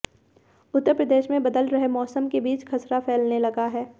उत्तर प्रदेश में बदल रहे मौसम के बीच खसरा फैलने लगा है